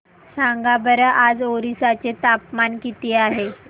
सांगा बरं आज ओरिसा चे तापमान किती आहे